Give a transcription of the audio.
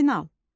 Final.